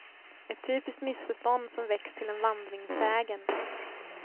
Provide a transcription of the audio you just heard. Ett typiskt missförstånd som växt till en vandringssägen.